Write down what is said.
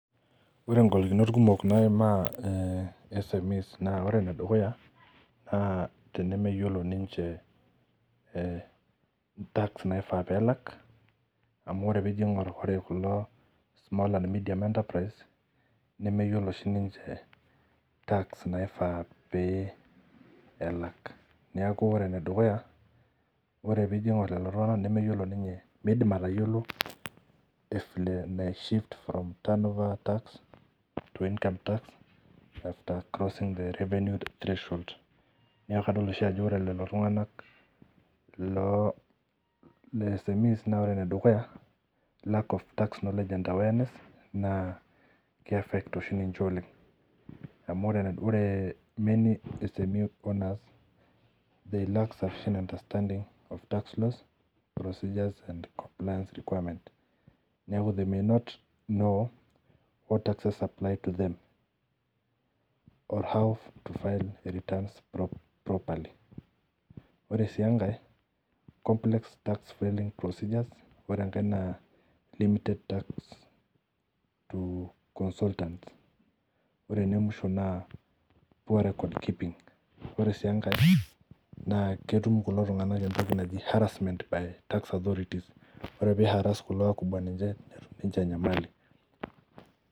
Ore ngolikinot kumok naimaa SMES na tenemeyiolo tax naifaa pelak amu ore pingur kulo small and mediun enterprise nemeyiolo siniche tax naifaa pelak neaku ore eningor lolo tongunak meyiolo tax to income that arecausing revenue infantation neaku ore lolotunganak lo smes na ore enedukuya na lack of tax legend awareness na kiafect ninche oleng neaku ore si enkae complex tas procedures ore enemwisho na poor records keeping na ketum kulo tunganak nisho enyamali